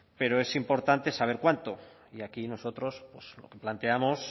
pero es importante saber cuánto y aquí nosotros pues lo planteamos